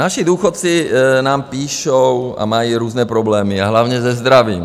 Naši důchodci nám píší a mají různé problémy, a hlavně se zdravím.